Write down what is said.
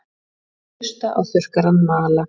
Hlusta á þurrkarann mala.